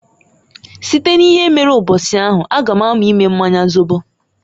Site n'ihe mere mbosi ahụ a ga m amu ime mmanya zobo.